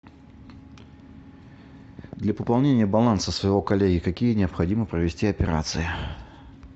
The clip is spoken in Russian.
для пополнения баланса своего коллеги какие необходимо провести операции